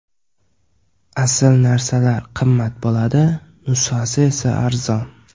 Asl narsalar qimmat bo‘ladi, nusxasi esa arzon.